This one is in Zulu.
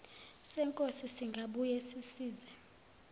senkosi singabuye sisize